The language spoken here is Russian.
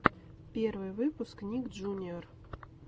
первый выпуск ник джуниор